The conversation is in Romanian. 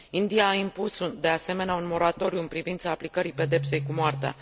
India a impus, de asemenea, un moratoriu în privința aplicării pedepsei cu moartea.